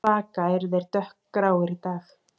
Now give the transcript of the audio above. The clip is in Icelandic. Svaka eru þeir dökkgráir í dag